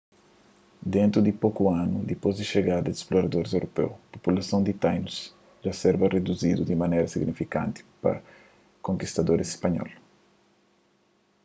dentu di poku anu dipôs di xegada di sploradoris europeu populason di tainus dja serba riduzidu di manera signifikanti pa konkistadoris spanhol